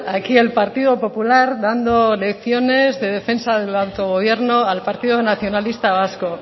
aquí el partido popular dando lecciones de defensa del autogobierno al partido nacionalista vasco